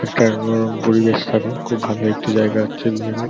একটা মনোরম পরিবেশ থাকে। খুব ভালো একটি জায়গা হচ্ছে বিয়েবাড়--